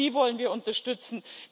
Auch sie wollen wir unterstützen.